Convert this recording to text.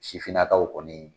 Sifinnakaw kɔni